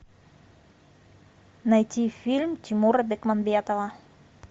найти фильм тимура бекмамбетова